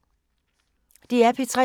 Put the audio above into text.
DR P3